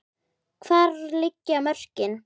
Hvar liggja mörkin?